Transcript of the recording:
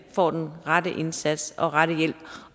får den rette indsats og den rette hjælp